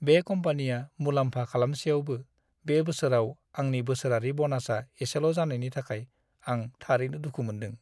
बे कम्पानिया मुलाम्फा खालामसेयावबो, बे बोसोराव आंनि बोसोरारि ब'नासआ इसेल' जानायनि थाखाय आं थारैनो दुखु मोन्दों।